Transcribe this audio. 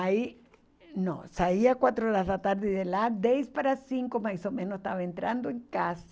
Aí, não, saía quatro horas da tarde de lá, dez para cinco, mais ou menos, estava entrando em casa.